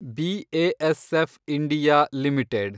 B A S F India limited